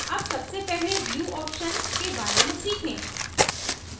अब सबसे पहले view options के बारे में सीखें